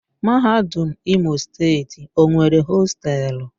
Mahadum Imo Steeti o nwere hostelu?